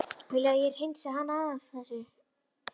Viljið þið að ég hreinsið hana af þessu?